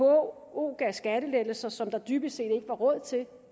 vko gav skattelettelser som der dybest set ikke var råd til